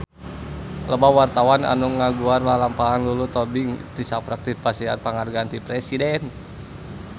Loba wartawan anu ngaguar lalampahan Lulu Tobing tisaprak dipasihan panghargaan ti Presiden